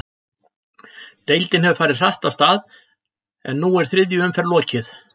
Deildin hefur farið hratt af stað, en nú er þriðju umferð lokið.